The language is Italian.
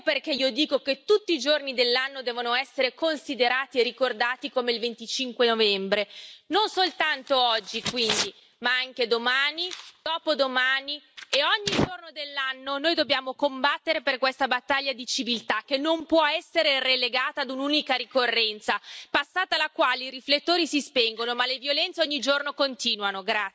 Ecco perché io dico che tutti i giorni dell'anno devono essere considerati ricordati come il 25 novembre. Non soltanto oggi, quindi, ma anche domani, dopodomani e ogni giorno dell'anno noi dobbiamo combattere per questa battaglia di civiltà che non può essere relegata a un'unica ricorrenza, passata la quale i riflettori si spengono, ma le violenze ogni giorno continuano.